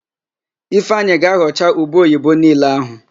Ifeanyị ga-aghọcha ube oyibo niile ahụ